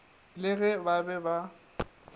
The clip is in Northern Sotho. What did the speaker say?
le ge ba be ba